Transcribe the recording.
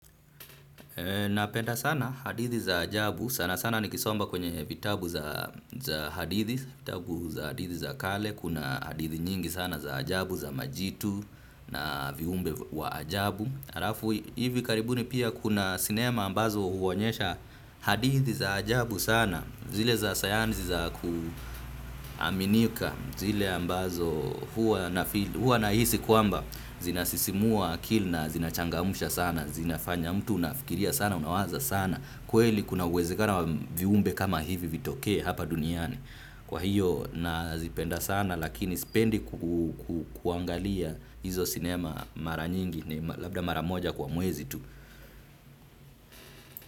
Napenda sana hadithi za ajabu, sana sana nikisoma kwenye vitabu za hadithi, vitabu za hadithi za kale, kuna hadithi nyingi sana za ajabu, za majitu na viumbe wa ajabu. Halafu hivi karibuni pia kuna sinema ambazo huonyesha hadithi za ajabu sana zile za sayansi za kuaminika zile ambazo huwa na huwa nahisi kwamba zinasisimua akili na zinachangamsha sana zinafanya mtu unafikiria sana unawaza sana kweli kuna uwezekano viumbe kama hivi vitokee hapa duniani kwa hiyo nazipenda sana lakini sipendi kuangalia hizo sinema mara nyingi labda mara moja kwa mwezi tu.